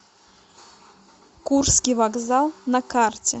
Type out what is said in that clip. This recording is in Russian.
курский вокзал на карте